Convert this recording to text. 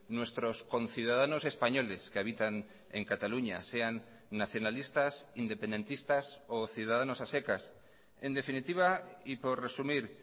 nuestros conciudadanos españoles que habitan en cataluña sean nacionalistas independentistas o ciudadanos a secas en definitiva y por resumir